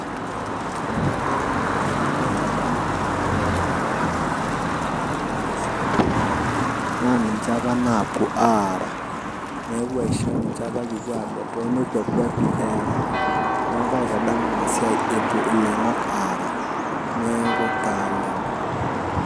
Tenadol oloingoni naitadamu apa kira kutitik kipuo airita nkishu toonkongat naa ninche apuo naapuo aara , niaku kaitadamu inasiai epuo iloingok aara.